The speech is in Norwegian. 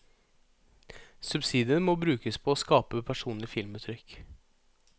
Subsidiene må brukes på å skape personlige filmuttrykk.